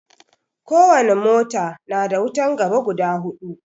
Ko wani mota na da wutan gaba guda hudu